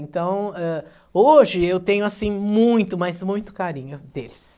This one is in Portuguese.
Então, eh, hoje eu tenho, assim, muito, mas muito carinho deles.